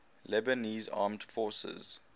lebanese armed forces